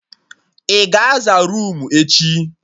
Ị ga aza roomu echi?